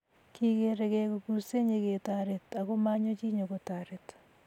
kikerei kei ko kursei nyeketoret ako manyo chi nyokotoret